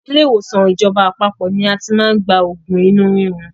Ilé ìwòsàn ìjọba àpapọ̀ ni a ti máa ń gba oògùn inú rírun.